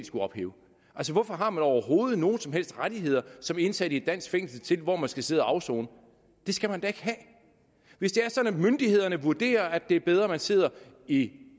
skulle ophæve hvorfor har man overhovedet nogen som helst rettigheder som indsat i et dansk fængsel til hvor man skal sidde og afsone det skal man da ikke have hvis det er sådan at myndighederne vurderer at det er bedre at man sidder i